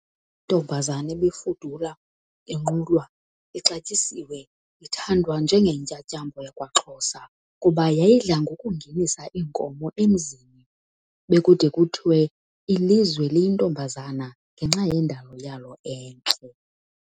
Intombazana ibifudula inqulwa ixatyisiwe ithandwa njengentyantyambo yakwaXhosa kuba yayidla ngokungenisa iinkomo emzini. Bekude kuthiwe ilizwe liyintombazana ngenxa yendalo yalo entle.